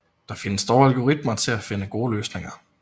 Der findes dog algoritmer til at finde gode løsninger